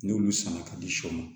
N'olu sanna ka di shɔ ma